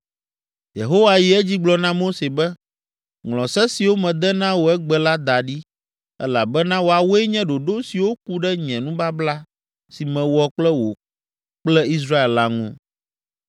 Yehowa yi edzi gblɔ na Mose be, “Ŋlɔ se siwo mede na wò egbe la da ɖi, elabena woawoe nye ɖoɖo siwo ku ɖe nye nubabla si mewɔ kple wò kple Israel la ŋu.”